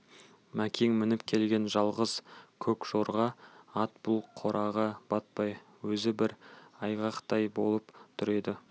мәкен мініп келген жалғыз көк жорға ат бұл қораға батпай өзі бір айғақтай болып тұр еді